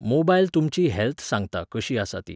mobile तुमची health सांगता कशी आसा ती